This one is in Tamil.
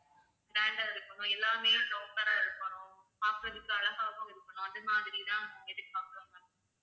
grand ஆ இருக்கனும் எல்லாமே proper ஆ இருக்கனும் பார்க்கறதுக்கு அழகாகவும் இருக்கணும் அது மாதிரி தான் நாங்க எதிர்பார்க்குறோம் ma'am